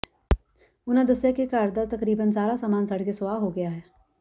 ਉਨ੍ਹਾਂ ਦੱਸਿਆ ਕਿ ਘਰ ਦਾ ਤਕਰੀਬਨ ਸਾਰਾ ਸਾਮਾਨ ਸੜਕੇ ਸੁਆਹ ਹੋ ਗਿਆ ਹੈ